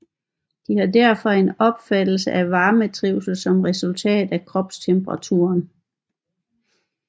De har derfor en opfattelse af varmetrivsel som et resultat af kropstemperaturen